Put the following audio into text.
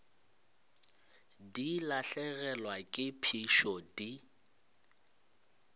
di lahlegelwa ke phišo di